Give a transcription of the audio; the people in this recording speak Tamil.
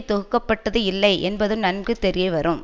தொகுக்க பட்டது இல்லை என்பதும் நன்கு தெரியவரும்